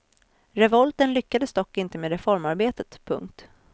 Revolten lyckades dock inte med reformarbetet. punkt